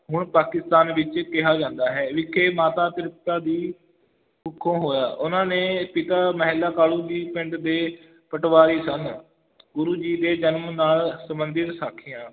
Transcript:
ਹੁਣ ਪਾਕਿਸਤਾਨ ਵਿੱਚ ਕਿਹਾ ਜਾਂਦਾ ਹੈ, ਵਿਖੇ ਮਾਤਾ ਤ੍ਰਿਪਤਾ ਦੀ ਕੁੱਖੋਂ ਹੋਇਆ, ਉਹਨਾਂ ਨੇ ਪਿਤਾ ਮਹਿਤਾ ਕਾਲੂ ਜੀ ਪਿੰਡ ਦੇ ਪਟਵਾਰੀ ਸਨ ਗੁਰੂ ਜੀ ਦੇ ਜਨਮ ਨਾਲ ਸੰਬੰਧਿਤ ਸਾਖੀਆਂ